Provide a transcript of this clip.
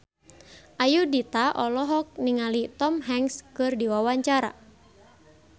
Ayudhita olohok ningali Tom Hanks keur diwawancara